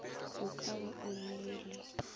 o ka be o llile